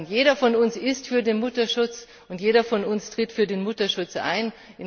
Jeder von uns ist für den Mutterschutz, jeder von uns tritt für den Mutterschutz ein.